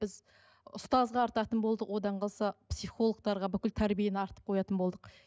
біз ұстазға артатын болдық одан қалса психологтарға бүкіл тәрбиені артып қоятын болдық